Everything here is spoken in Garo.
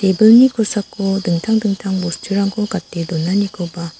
ebilni kosako dingtang dingtang bosturangkp gate donanikoba--